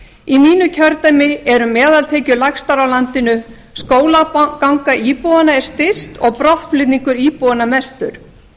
í mínu kjördæmi eru meðaltekjur lægstar á landinu skólaganga íbúanna er styst og brottflutningur íbúanna mestur